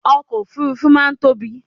ọkọ̀ òfurufú máà ń tóbi